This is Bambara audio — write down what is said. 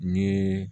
Ni